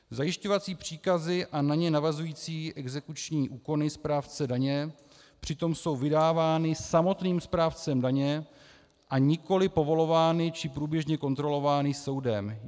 Zajišťovací příkazy a na ně navazující exekuční úkony správce daně přitom jsou vydávány samotným správcem daně, a nikoliv povolovány či průběžně kontrolovány soudem.